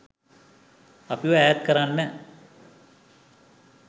අපිව ඈත්කරන්න